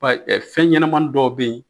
Payi fɛn ɲɛnamanin dɔw bɛ ye